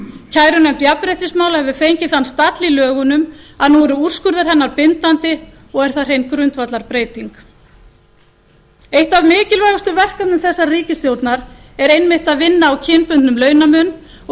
kærunefnd jafnréttismála hefur fengið þann stall í lögunum að nú eru úrskurðir hennar bindandi og er það hrein grundvallarbreytggn eitt af mikilvægustu verkefnum þessarar ríkisstjórnar er einmitt að vinna á kynbundnum launamun og í stefnuyfirlýsingu